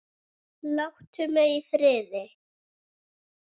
Láttu mig í friði!